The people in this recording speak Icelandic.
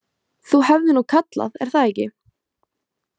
Þú hefðir nú kallað, er það ekki?